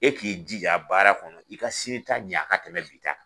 E k'i jija baara kɔnɔ i ka sini ta ɲɛ a ka tɛmɛ bi ta kan